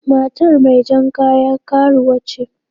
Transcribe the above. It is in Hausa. Matar mai jar kaya karuwa ce.